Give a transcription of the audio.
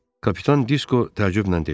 Kapitan Disko təəccüblə dedi.